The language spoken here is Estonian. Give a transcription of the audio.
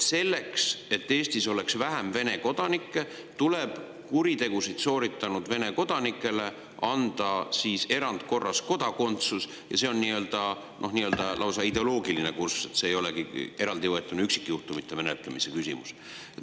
Selleks, et Eestis oleks vähem Vene kodanikke, tuleb kuritegusid sooritanud Vene kodanikele anda kodakondsus erandkorras, ja see on lausa ideoloogiline kurss, mitte üksikjuhtumite menetlemise küsimus.